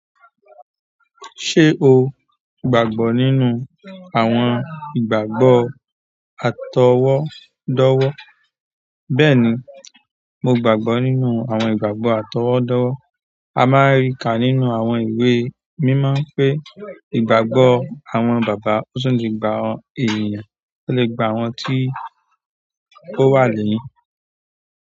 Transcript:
Ṣé o gbàgbọ́ nínú àwọn ìgbàgbọ́ àtọwọ́dọ́wọ́? Bẹ́ẹ̀ni, mo gbàgbọ́ nínú àwọn ìgbàgbọ́ àtọwọ́dọ́wọ́. A máa ń rí kà nínú àwọn ìwé mímọ́ pé ìgbàgbọ́ àwọn bàbá tó sùn ni gba èèyàn, ó lè gba àwọn tí ó wà lẹ́yìn.